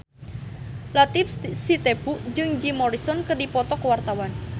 Latief Sitepu jeung Jim Morrison keur dipoto ku wartawan